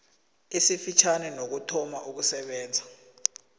esifitjhani nokuthoma ukusebenza